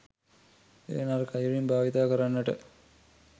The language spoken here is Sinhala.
එය නරක අයුරින් භාවිතා කරන්නට